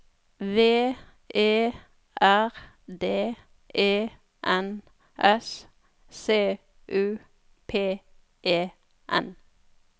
V E R D E N S C U P E N